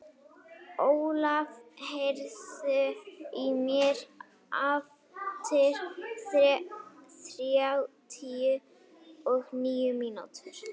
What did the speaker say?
Ólaf, heyrðu í mér eftir þrjátíu og níu mínútur.